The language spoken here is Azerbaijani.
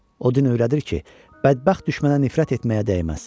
O din öyrədir ki, bədbəxt düşmənə nifrət etməyə dəyməz.